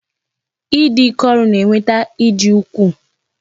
I dị ike ọrụ na-eweta ịdị ukwuu